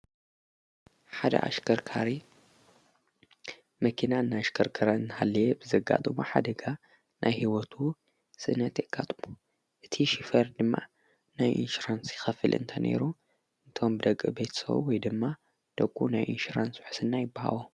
ቦሓደ ኣሽከርካሪ መኪና እናኣሽከርከረ ንሃለየ ብዘጋጥም ኃደጋ ናይ ሕይወቱ ስእነት የቃጥቡ እቲ ሽፈር ድማ ናይ ኢንሽራንሲ ኸፍል እንተነይሩ እንቶም ደግ ቤትሰው ወይ ድማ ደቁ ናይ ኢንሽራንስ ሕስና ይበሃብ።